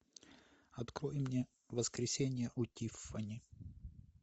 открой мне воскресенье у тиффани